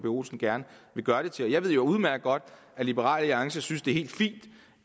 olsen gerne vil gøre det til jeg ved jo udmærket godt at liberal alliance synes det er helt fint